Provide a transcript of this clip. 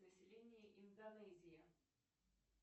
население индонезии